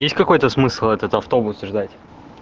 есть какой-то смысл этот автобус ждать